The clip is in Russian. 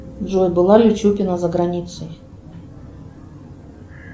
джой была ли чупина за границей